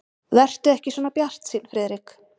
Vertu ekki svona bjartsýnn, Friðrik.